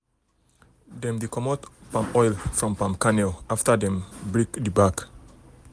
dem dey comot oil from palm kernel after dem don break the back